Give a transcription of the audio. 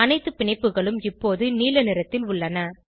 அணைத்து பிணைப்புகளும் இப்போது நீல நிறத்தில் உள்ளன